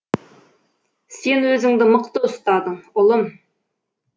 сен өзіңді мықты ұстадың ұлым